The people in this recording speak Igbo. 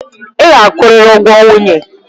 Ị ga-akwụrịrị ụgwọ nwunye.